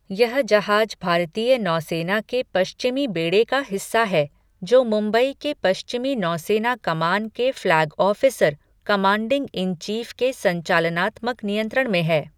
यह जहाज भारतीय नौसेना के पश्चिमी बेड़े का हिस्सा है, जो मुंबई के पश्चिमी नौसेना कमान के flag officer, commanding in chief के संचालनात्मक नियंत्रण में है।